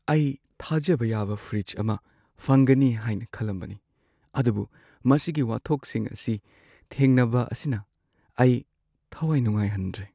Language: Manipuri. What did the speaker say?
ꯑꯩ ꯊꯥꯖꯕ ꯌꯥꯕ ꯐ꯭ꯔꯤꯖ ꯑꯃ ꯐꯪꯒꯅꯤ ꯍꯥꯏꯅ ꯈꯜꯂꯝꯕꯅꯤ, ꯑꯗꯨꯕꯨ ꯃꯁꯤꯒꯤ ꯋꯥꯊꯣꯛꯁꯤꯡ ꯑꯁꯤ ꯊꯦꯡꯅꯕ ꯑꯁꯤꯅ ꯑꯩ ꯊꯋꯥꯏ ꯅꯨꯡꯉꯥꯏꯍꯟꯗ꯭ꯔꯦ ꯫